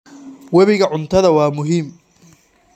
Webiga cuntada waa muhiim.